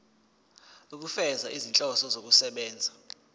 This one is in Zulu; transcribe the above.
ukufeza izinhloso zokusebenzisa